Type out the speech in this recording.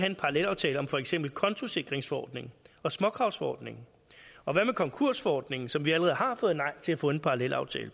en parallelaftale om for eksempel kontosikringsforordningen og småkravsforordningen og hvad med konkursforordningen som vi allerede har fået nej til at få en parallelaftale